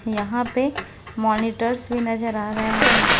यहां पे मॉनिटर्स भी नजर आ रहे हैं।